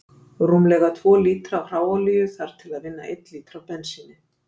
Rúmlega tvo lítra af hráolíu þarf til að vinna einn lítra af bensíni.